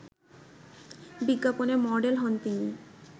বিজ্ঞাপনে মডেল হন তিনি